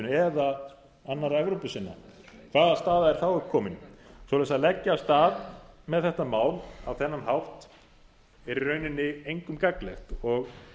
eða annarra evrópusinna hvaða staða er þá upp komin svoleiðis að leggja af stað með þetta mál á þennan hátt er í rauninni engum gagnlegt og